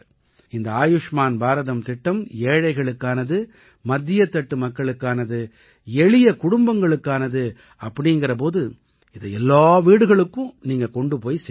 இந்த ஆயுஷ்மான் பாரதம் திட்டம் ஏழைகளுக்கானது மத்தியத்தட்டு மக்களுக்கானது எளிய குடும்பங்களுக்கானது அப்படீங்கற போது இதை எல்லா வீட்டுகளுக்கும் நீங்க கொண்டு சேருங்க